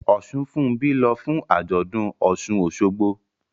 Osunfunbi ń lọ fún àjọ̀dún Osun-Osogbo